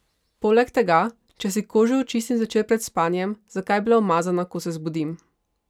Poleg tega, če si kožo očistim zvečer pred spanjem, zakaj bi bila umazana, ko se zbudim?